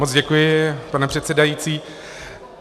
Moc děkuji, pane předsedající.